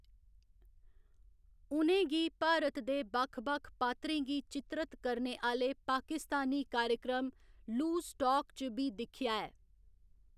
उ'नें गी भारत दे बक्ख बक्ख पात्रें गी चित्रत करने आह्‌‌‌ले पाकिस्तानी कार्यक्रम लूज टाक च बी दिक्खेआ ऐ।